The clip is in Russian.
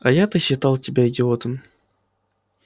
а я-то считал тебя идиотом